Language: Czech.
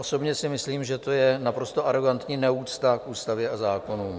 Osobně si myslím, že to je naprosto arogantní neúcta k ústavě a zákonům.